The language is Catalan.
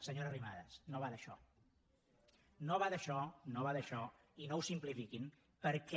senyora arrimadas no va d’això no va d’això no va d’això i no ho simplifiquin perquè